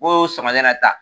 Ko sɔgɔmada in na ta